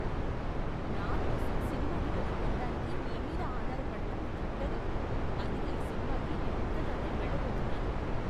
నా కోసం సినిమా టిక్కెట్లు కొనడానికి నీ మీద ఆధారపడటం దండగ, అందుకే ఈ సినిమాకి నేనొక్కదాన్నే వెళ్ళబోతున్నాను.